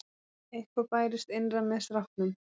Eitthvað bærist innra með stráknum.